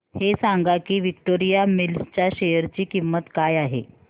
हे सांगा की विक्टोरिया मिल्स च्या शेअर ची किंमत काय आहे